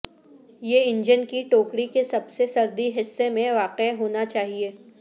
یہ انجن کی ٹوکری کے سب سے سردی حصے میں واقع ہونا چاہئے